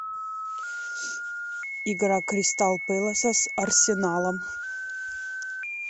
игра кристал пэласа с арсеналом